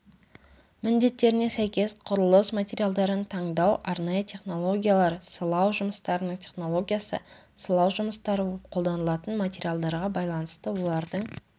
міндеттеріне сәйкес құрылыс материалдарын таңдау арнайы технологиялар сылау жұмыстарының технологиясы сылау жұмыстары қолданылатын материалдарға байланысты олардың